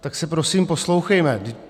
Tak se prosím poslouchejme!